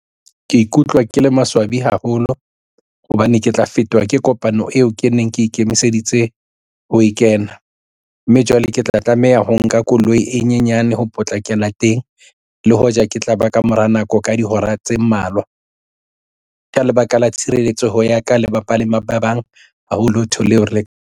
Ke ikutlwa ke le maswabi haholo hobane ke tla fetwa ke kopano eo ke neng ke ikemiseditse ho e kena, mme jwale ke tla tlameha ho nka koloi e nyenyane ho potlakela teng le hoja ke tla ba kamora nako ka dihora tse mmalwa ka lebaka la tshireletsoho ya ka le bapalami ba bang haholo ntho .